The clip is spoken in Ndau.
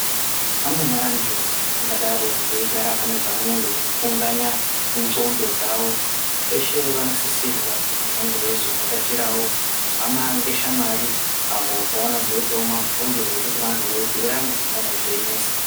Amweni antu vangadaro veigara vanezvanenge veifunganya mudhlondo dzavo veshe vanosisirwa kuzi vangeveizo vhakachirawo hama ngeshamwari avo pavanozoitawo mabhuyo ,veibhuyirana zvingadai zveinesa.